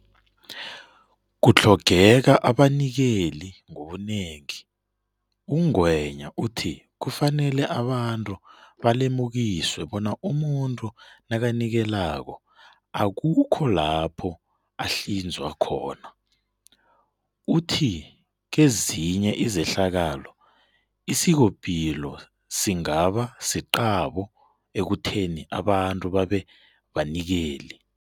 Kutlhogeka Abanikeli Ngobunengi UNgwenya uthi kufanele abantu balemukiswe bona umuntu nakanikelako akukho lapho ahlinzwa khona. Uthi kezinye izehlakalo, isikopilo singaba siqabo ekutheni abantu babebanikeli.